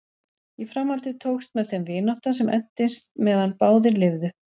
Í framhaldi tókst með þeim vinátta sem entist meðan báðir lifðu.